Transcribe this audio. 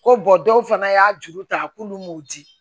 Ko dɔw fana y'a juru ta k'olu m'u di